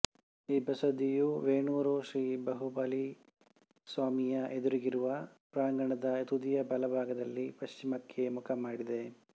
ಈ ಬಸದಿಯು ವೇಣೂರು ಶ್ರೀ ಬಾಹುಬಲಿ ಸ್ವಾಮಿಯ ಎದುರಿಗಿರುವ ಪ್ರಾಂಗಣದ ತುದಿಯ ಬಲಭಾಗದಲ್ಲಿ ಪಶ್ಚಿಮಕ್ಕೆ ಮುಖ ಮಾಡಿದೆ